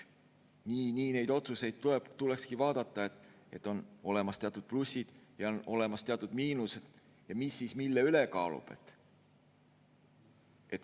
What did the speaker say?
Nii neid otsuseid tulekski vaadata, et on olemas teatud plussid ja on olemas teatud miinus ja mis siis mille üles kaalub.